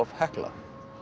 Hekla